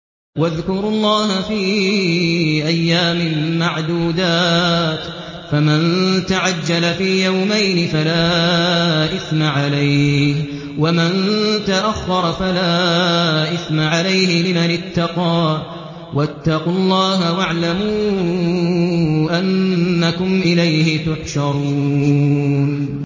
۞ وَاذْكُرُوا اللَّهَ فِي أَيَّامٍ مَّعْدُودَاتٍ ۚ فَمَن تَعَجَّلَ فِي يَوْمَيْنِ فَلَا إِثْمَ عَلَيْهِ وَمَن تَأَخَّرَ فَلَا إِثْمَ عَلَيْهِ ۚ لِمَنِ اتَّقَىٰ ۗ وَاتَّقُوا اللَّهَ وَاعْلَمُوا أَنَّكُمْ إِلَيْهِ تُحْشَرُونَ